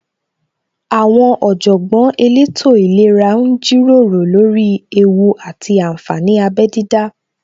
Àwọn Ọ̀jọ̀gbọ́n elétò ìlera ń jíròrò lórí ewú àti ànfàní abẹ dídá